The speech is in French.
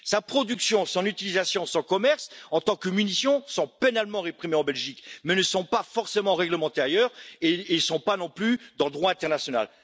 Sa production, son utilisation, son commerce en tant que munition sont pénalement réprimés en Belgique, mais ne sont pas forcément réglementés ailleurs et ils ne le sont pas non plus dans le droit international.